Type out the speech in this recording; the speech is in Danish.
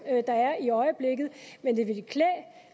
der er i øjeblikket men det ville klæde